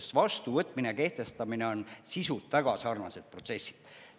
Sest vastuvõtmine ja kehtestamine on sisult väga sarnased protsessid.